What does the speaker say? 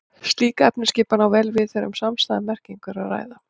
Slík efnisskipan á vel við þegar um samstæða merkingu er að ræða.